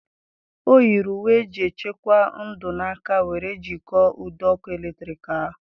Ọ yiri uwe eji echekwa ndụ na aka were jikọọ ụdọ ọkụ eletrik ahụ.